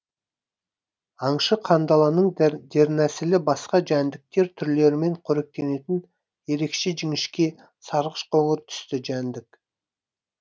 аңшы қандаланың дернәсілі басқа жәндіктер түрлерімен қоректенетін ерекше жіңішке сарғыш қоңыр түсті жәндік